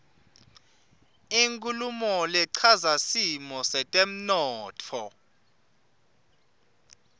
inkhulumo lechaza simo setemntfo